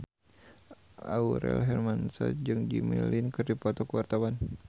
Aurel Hermansyah jeung Jimmy Lin keur dipoto ku wartawan